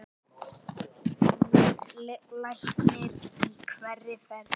Nýr læknir í hverri ferð.